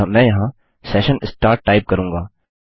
अतः मैं यहाँ सेशन स्टार्ट टाइप करूँगा